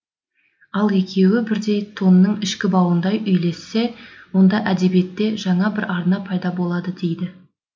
ал екеуі бірдей тонның ішкі бауындай үйлессе онда әдебиетте жаңа бір арна пайда болады дейді